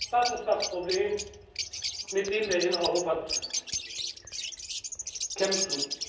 Das ist das Problem, mit dem wir in Europa kämpfen.